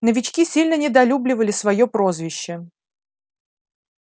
новички сильно недолюбливали своё прозвище